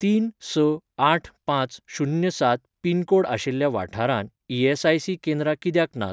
तीन स आठ पांच शुन्य सात पिनकोड आशिल्ल्या वाठारांत ईएसआयसी केंद्रां कित्याक नात?